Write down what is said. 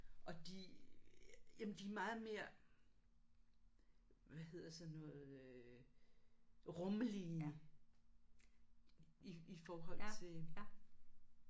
Og de jamen de er meget mere hvad hedder sådan noget øh rumlige i i forhold til